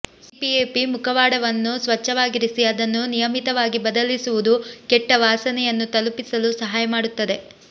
CPAP ಮುಖವಾಡವನ್ನು ಸ್ವಚ್ಛವಾಗಿರಿಸಿ ಅದನ್ನು ನಿಯಮಿತವಾಗಿ ಬದಲಿಸುವುದು ಕೆಟ್ಟ ವಾಸನೆಯನ್ನು ತಪ್ಪಿಸಲು ಸಹಾಯ ಮಾಡುತ್ತದೆ